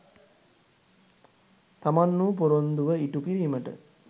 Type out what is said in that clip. තමන්වු පොරොන්දුව ඉටු කිරිමට